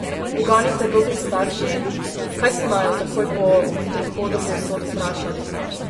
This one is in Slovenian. Uganite dobri starši, kaj so naju takoj po prihodu povsod vprašali?